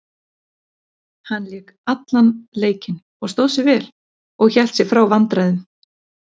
Hann lék allan leikinn og stóð sig vel og hélt sig frá vandræðum.